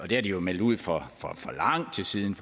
det har de jo meldt ud for lang tid siden